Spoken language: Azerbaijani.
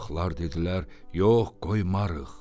Balıqlar dedilər: "Yox, qoymarıq".